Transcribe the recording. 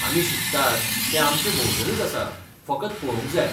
आमी शिकतात, तें आमचे भोंवतणीच आसा, फकत पळोवंक जाय.